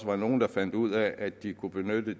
var nogle der fandt ud af at de kunne benytte